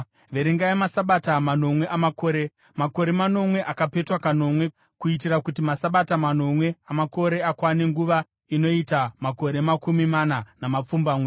“ ‘Verengai maSabata manomwe amakore, makore manomwe akapetwa kanomwe, kuitira kuti maSabata manomwe amakore akwane nguva inoita makore makumi mana namapfumbamwe.